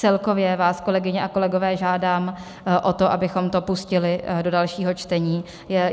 Celkově vás, kolegyně a kolegové, žádám o to, abychom to pustili do dalšího čtení.